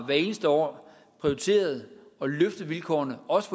eneste år prioriteret at løfte vilkårene også